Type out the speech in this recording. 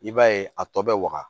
I b'a ye a tɔ bɛ waga